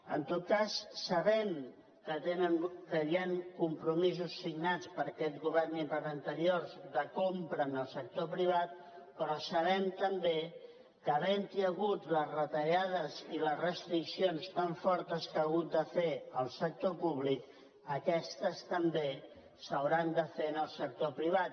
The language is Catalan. en tot cas sabem que hi han compromisos signats per aquest govern i per anteriors de compra al sector privat però sabem també que havent hi hagut les retallades i les restriccions tan fortes que ha hagut de fer el sector públic aquestes també s’hauran de fer en el sector privat